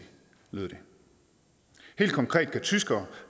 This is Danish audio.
lyder det helt konkret kan tyskere